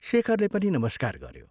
शेखरले पनि नमस्कार गऱ्यो।